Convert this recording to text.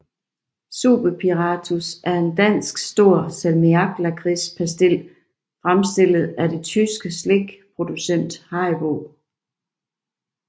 Super Piratos er en dansk stor salmiaklakridspastil fremstillet af det tyske slikproducent Haribo